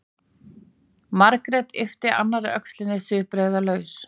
Margrét yppti annarri öxlinni svipbrigðalaus.